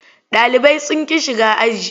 Ɗalibai sun ƙi shiga aji.